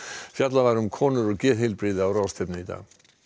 fjallað var um konur og geðheilbrigði á ráðstefnu í dag